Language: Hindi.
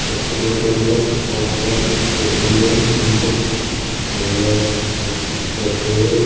हॉस्पिटल के अंदर बहुत सारी चेयर पड़ी है जिन पर कुछ महिलाएं कुछ बच्चे बैठे हुए हैं।